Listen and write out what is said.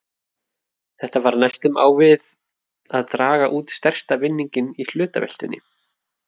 Þetta var næstum á við að draga út stærsta vinninginn í hlutaveltunni!